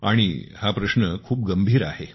आणि हा प्रश्न खूप गंभीर आहे